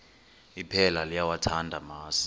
iphela liyawathanda amasi